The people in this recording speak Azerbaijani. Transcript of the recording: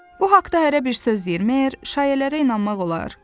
Bu haqda hərə bir söz deyir, məyər şayələrə inanmaq olar?